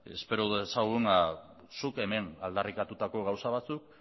espero dezagun zuk hemen aldarrikatutako gauza batzuk